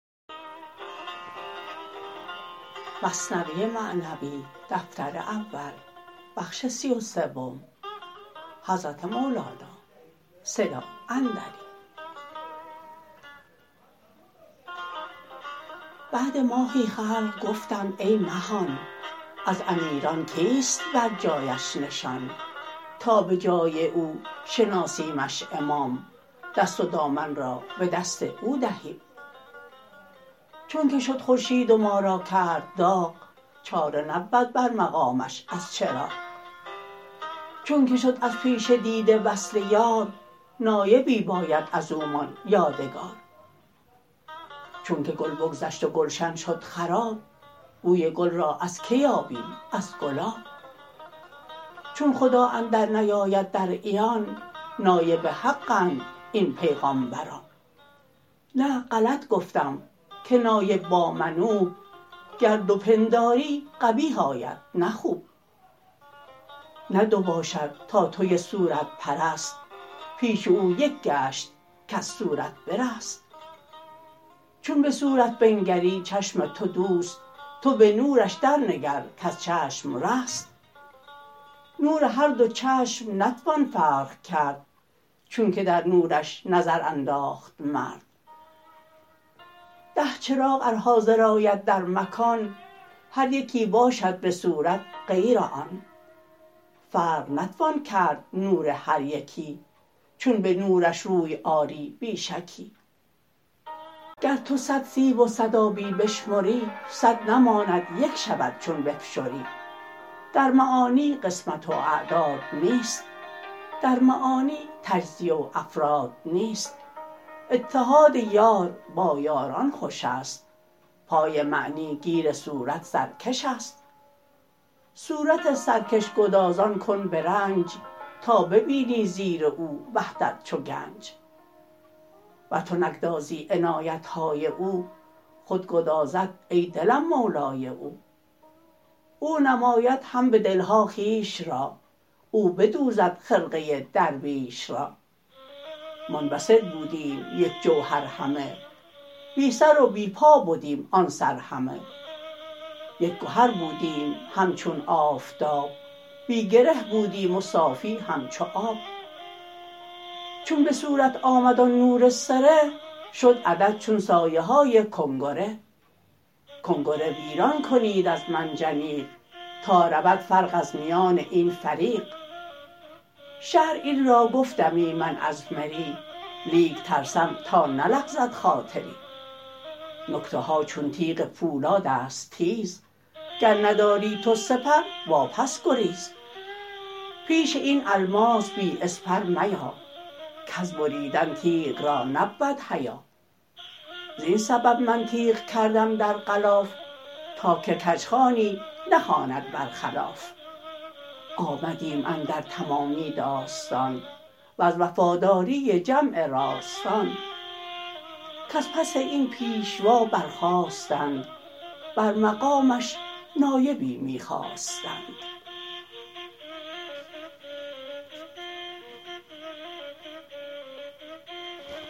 بعد ماهی خلق گفتند ای مهان از امیران کیست بر جایش نشان تا به جای او شناسیمش امام دست و دامن را به دست او دهیم چونک شد خورشید و ما را کرد داغ چاره نبود بر مقامش از چراغ چونک شد از پیش دیده وصل یار نایبی باید ازومان یادگار چونک گل بگذشت و گلشن شد خراب بوی گل را از که یابیم از گلاب چون خدا اندر نیاید در عیان نایب حق اند این پیغامبران نه غلط گفتم که نایب با منوب گر دو پنداری قبیح آید نه خوب نه دو باشد تا توی صورت پرست پیش او یک گشت کز صورت برست چون به صورت بنگری چشم تو دوست تو به نورش در نگر کز چشم رست نور هر دو چشم نتوان فرق کرد چونک در نورش نظر انداخت مرد ده چراغ ار حاضر آید در مکان هر یکی باشد بصورت غیر آن فرق نتوان کرد نور هر یکی چون به نورش روی آری بی شکی گر تو صد سیب و صد آبی بشمری صد نماند یک شود چون بفشری در معانی قسمت و اعداد نیست در معانی تجزیه و افراد نیست اتحاد یار با یاران خوشست پای معنی گیر صورت سرکشست صورت سرکش گدازان کن برنج تا ببینی زیر او وحدت چو گنج ور تو نگدازی عنایتهای او خود گدازد ای دلم مولای او او نماید هم به دلها خویش را او بدوزد خرقه درویش را منبسط بودیم یک جوهر همه بی سر و بی پا بدیم آن سر همه یک گهر بودیم همچون آفتاب بی گره بودیم و صافی همچو آب چون بصورت آمد آن نور سره شد عدد چون سایه های کنگره گنگره ویران کنید از منجنیق تا رود فرق از میان این فریق شرح این را گفتمی من از مری لیک ترسم تا نلغزد خاطری نکته ها چون تیغ پولادست تیز گر نداری تو سپر وا پس گریز پیش این الماس بی اسپر میا کز بریدن تیغ را نبود حیا زین سبب من تیغ کردم در غلاف تا که کژخوانی نخواند برخلاف آمدیم اندر تمامی داستان وز وفاداری جمع راستان کز پس این پیشوا بر خاستند بر مقامش نایبی می خواستند